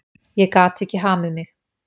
Ég gat ekki hamið mig.